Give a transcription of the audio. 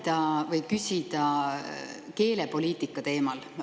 Tahan küsida keelepoliitika teemal.